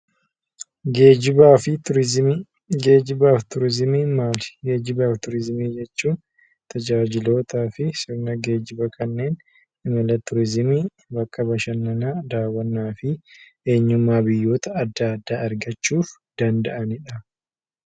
Geejjibaa fi Turiizimii: Geejjibaa fi Turiizimii jechuun maali? Geejjibaa fi Turiizimii jechuun tajaajilootaa fi sirna geejjiba kanneen imala turiizimii fi bakka bashannanaa, daawwannaa fi eenyummaa biyyoota adda addaa argachuuf danda’anidha.